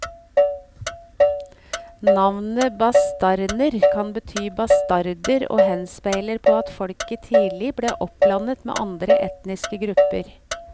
Navnet bastarner kan bety bastarder og henspeiler på at folket tidlig ble oppblandet med andre etniske grupper.